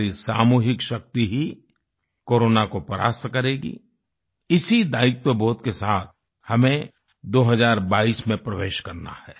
हमारी सामूहिक शक्ति ही कोरोना को परास्त करेगी इसी दायित्वबोध के साथ हमें 2022 में प्रवेश करना है